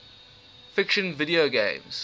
fiction video games